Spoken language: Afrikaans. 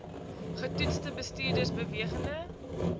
getoetste bestuurders bewegende